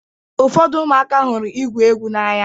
Ụfọdụ ụmụaka hụrụ igwu egwu n'anya.